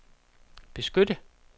beskytte